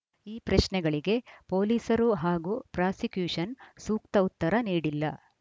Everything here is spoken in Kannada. ಈ ಪ್ರಶ್ನೆಗಳಿಗೆ ಪೊಲೀಸರು ಹಾಗೂ ಪ್ರಾಸಿಕ್ಯೂಷನ್‌ ಸೂಕ್ತ ಉತ್ತರ ನೀಡಿಲ್ಲ